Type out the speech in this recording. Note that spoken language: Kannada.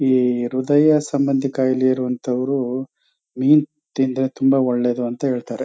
ಈ ಹೃದಯ ಸಂಭಂದಿ ಕಾಯಿಲೆ ಇರೋ ಅಂತವ್ರು ಮೀನು ತಿಂದ್ರೆ ತುಂಬಾ ಒಳ್ಳೇದು ಅಂತ ಹೇಳ್ತಾರೆ.